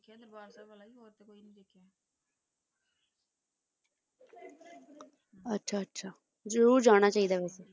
ਅੱਛਾ ਜ਼ਰੂਰ ਜਾਣਾ ਚਾਹੀਦਾ ਹੈ